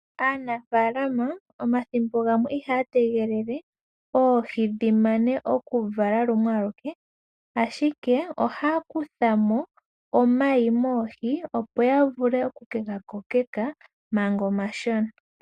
Aanafalama omathimbo gamwe ihaya tegelele oohi dhi mane okuvala ashike ohaya kutha mo omayi moohi opo ya vule oku ke ga kokeka manga omashona.